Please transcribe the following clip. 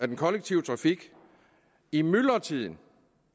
den kollektive trafik i myldretiden